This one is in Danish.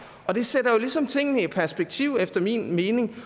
og det sætter jo ligesom tingene i perspektiv efter min mening det